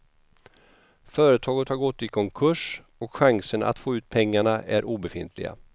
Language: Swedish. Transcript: Företaget har gått i konkurs och chanserna att få ut pengarna är obefintliga.